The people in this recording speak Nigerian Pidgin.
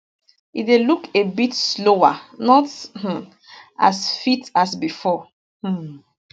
e dey look a bit slower not um as fit as bifor um